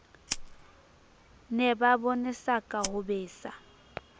ne ba bonesaka ho besa